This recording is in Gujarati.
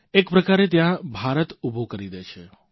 એક પ્રકારે ત્યાં ભારત ઉભું કરી દે છે